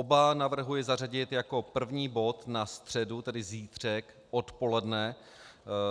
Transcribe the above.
Oba navrhuji zařadit jako první bod na středu, tedy zítřek odpoledne